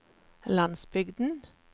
landsbygden